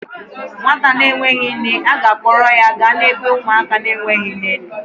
Nwata a enweghi nne, a ga-akpọrọ ya gaa n'ebe ụmụaka na-enweghi nne nọ